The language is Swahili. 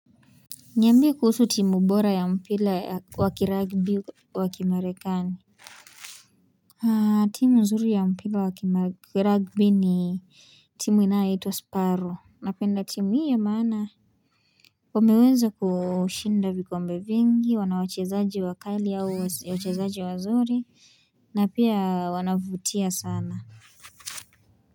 Niambie kuhusu timu bora ya mpira wa kiragbi wa kimarekani timu zuri ya mpira wa kiragbi ni timu inayoiitwa sparrow napenda timu hii ya maana wameweza kushinda vikombe vingi wanawachezaji wakali au wachezaji wazuri na pia wanavutia sana.